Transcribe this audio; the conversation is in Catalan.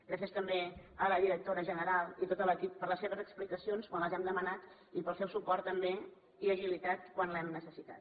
gràcies també a la directora general i a tot l’equip per les seves explicacions quan les hem demanat i pel seu suport també i agilitat quan els hem necessitat